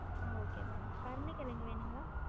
ஆஹ் okay ma'am கருண கெழங்கு வேணுங்களா?